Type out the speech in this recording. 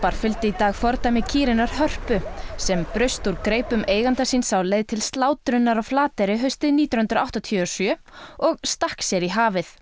fylgdu í dag fordæmi kýrinnar Hörpu sem braust úr greipum eiganda síns á leið til slátrunar á Flateyri haustið nítján hundruð áttatíu og sjö og stakk sér í hafið